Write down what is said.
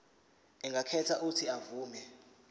angakhetha uuthi avume